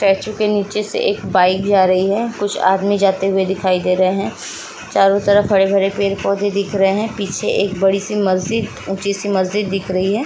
Statue के नीचे से एक बाइक जा रही है। कुछ आदमी जाते हुए दिखाई दे रहे है। चारो तरफ हरे-भरे पेड़-पोधे दिख रहे है। पीछे एक बड़ी-सी मस्जिद ऊँची-सी मस्जिद दिख रही है।